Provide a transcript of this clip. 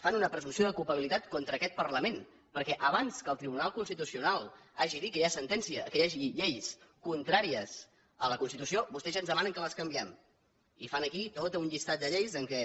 fan una presumpció de culpabilitat contra aquest parlament perquè abans que el tribunal constitucional hagi dit que hi hagi lleis contràries a la constitució vostès ja ens demanen que les canviem i fan aquí tot un llistat de lleis en què